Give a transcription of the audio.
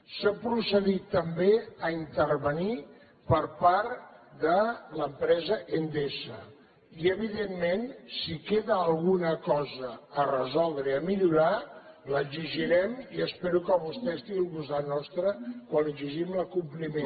s’ha procedit també a intervenir per part de l’empresa endesa i evidentment si queda alguna cosa a resoldre i a millorar l’exigirem i espero que vostè estigui al costat nostre quan exigim l’acompliment